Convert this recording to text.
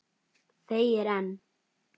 Þegir enn.